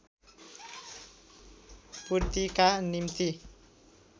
पूर्तिका निम्ति